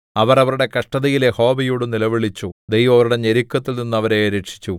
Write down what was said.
അവർ അവരുടെ കഷ്ടതയിൽ യഹോവയോട് നിലവിളിച്ചു ദൈവം അവരുടെ ഞെരുക്കങ്ങളിൽനിന്ന് അവരെ രക്ഷിച്ചു